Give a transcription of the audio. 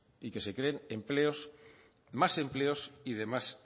y que se creen más empleos y de más